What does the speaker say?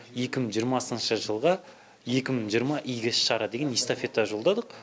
екі мың жиырмасыншы жылға екі мың жиырма игі іс шара деген эстафета жолдадық